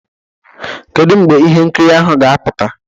Kedu mgbe ihe nkiri ahụ ga-apụta?